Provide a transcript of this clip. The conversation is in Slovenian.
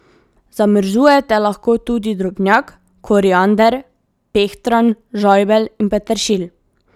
Zamrzujete lahko tudi drobnjak, koriander, pehtran, žajbelj in peteršilj.